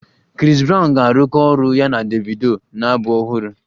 Chris brown ga-arụkọ ọrụ ya na Davido na abụ ọhụrụ